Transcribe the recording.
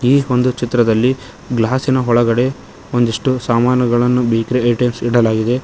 ಈ ಒಂದು ಚಿತ್ರದಲ್ಲಿ ಗ್ಲಾಸಿನ ಒಳಗಡೆ ಒಂದಿಷ್ಟು ಸಾಮಾನುಗಳನ್ನು ಬೇಕರಿ ಐಟೆಮ್ಸ ಇಡಲಾಗಿದೆ.